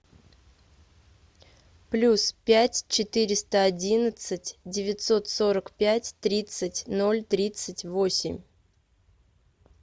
плюс пять четыреста одиннадцать девятьсот сорок пять тридцать ноль тридцать восемь